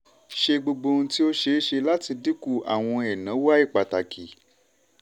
ṣe gbogbo ohun tí ó ṣe é ṣe láti dínkù àwọn ẹ̀náwó àìpàtàkì.